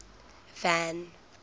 van